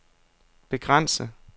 begrænse